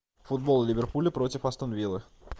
футбол ливерпуля против астон виллы